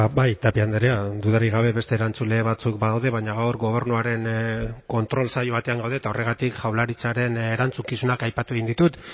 bai tapia andrea dudarik gabe beste erantzule batzuk badaude baina gaur gobernuaren kontrol saio batean gaude eta horregatik jaurlaritzaren erantzukizunak aipatu egin ditut